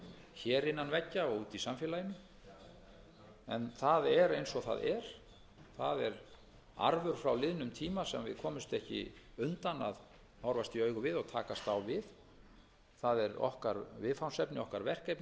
hér innan veggja og úti í samfélaginu en það er eins og það er það er arfur frá liðnum tíma sem við komumst ekki undan að horfast í augu við og takast á við það er okkar viðfangsefni okkar verkefni